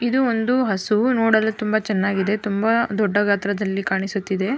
ಇದು ಒಂದು ಹಸು ಚೆನ್ನಾಗಿದೆ ತುಂಬ ದೊಡ್ಡ ಗಾತ್ರದಲ್ಲಿ ಕಾಣಿಸುತ್ತಿದೆ.